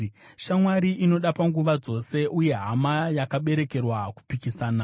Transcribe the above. Shamwari inoda panguva dzose, uye hama yakaberekerwa kupikisana.